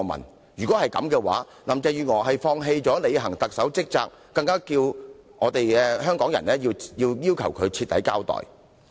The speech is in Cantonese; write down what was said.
若然如此，那便代表林鄭月娥放棄履行特首的職責，這樣她更有必要向港人徹底交代。